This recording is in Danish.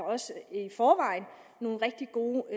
også i forvejen nogle rigtig gode